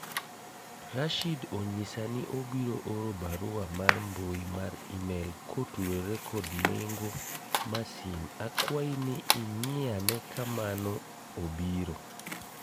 Rashid onyisa ni obiro oro barua mar mbui mar email kotudore kod nengo masin akwayi ni ing'i ane ka mano obiro